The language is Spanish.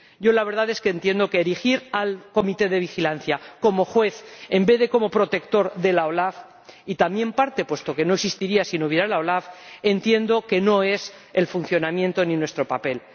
Yo, la verdad, es que entiendo que erigir al Comité de Vigilancia como juez, en vez de como protector de la OLAF, y también parte, puesto que no existiría si no hubiera la OLAF, entiendo que no es el funcionamiento ni nuestro papel.